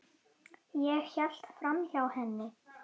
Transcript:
Ég hélt framhjá henni.